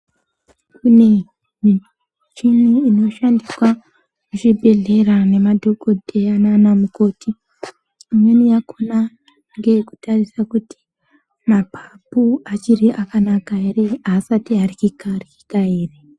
Imwe michini inoshandiswa muzvibhedhlera nemadhokodheya nanamukoti imweni yakona ngeyekutarisa kuti mapapu achiri akanaka ere aasati aryika ryika ere